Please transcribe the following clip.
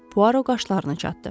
Poirot qaşlarını çatdı.